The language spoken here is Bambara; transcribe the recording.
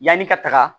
Yanni ka taga